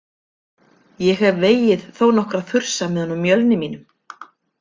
Ég hef vegið þó nokkra þursa með honum Mjölni mínum.